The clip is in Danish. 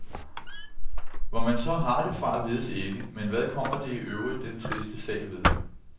Hvor man så har det fra, vides ikke, men hvad kommer det i øvrigt den triste sag ved.